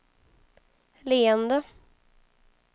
leende